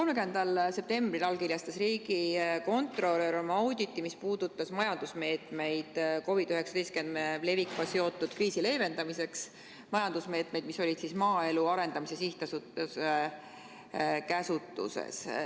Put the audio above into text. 30. septembril allkirjastas riigikontrolör oma auditi, mis puudutas majandusmeetmeid COVID-19 levikuga seotud kriisi leevendamiseks – neid majandusmeetmeid, mis olid maaelu arendamise sihtasutuse käsutuses.